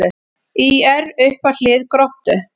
ÍR upp að hlið Gróttu